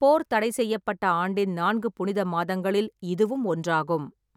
போர் தடைசெய்யப்பட்ட ஆண்டின் நான்கு புனித மாதங்களில் இதுவும் ஒன்றாகும்.